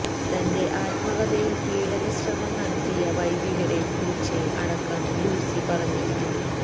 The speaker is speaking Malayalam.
തന്റെ ആത്മകഥയിൽ പീഡനശ്രമം നടത്തിയ വൈദികരെ കുറിച്ച് അടക്കം ലൂസി പറഞ്ഞിരുന്നു